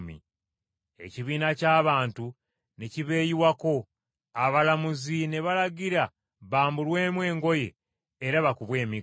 Ekibiina ky’abantu ne kibeeyiwako, abalamuzi ne balagira bambulwemu engoye era bakubwe emiggo.